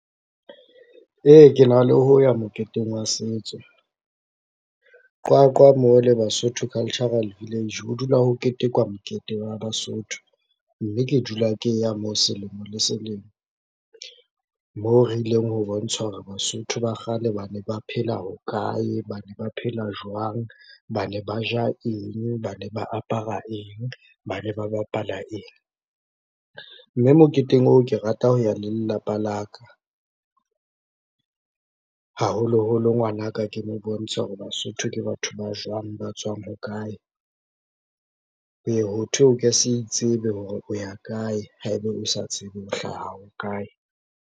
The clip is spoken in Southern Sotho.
Ee, ke na le ho ya moketeng wa setso, Qwaqwa mo le Basotho Cultural Village ho dula ho ketekwa mokete wa Basotho, mme ke dula ke ya moo selemo le selemo. Moo re ileng ho bontsha hore Basotho ba kgale ba ne ba phela ho kae, ba ne ba phela jwang, ba ne ba ja eng, ba ne ba apara eng, ba ne ba bapala eng, mme moketeng oo ke rata ho ya le lelapa la ka. Haholoholo ngwanaka ke mo bontshe hore Basotho ke batho ba jwang, ba tswang ho kae, ho ye ho thwe o ke se itsebe hore o ya kae, haeba o sa tsebe o hlaha ho kae.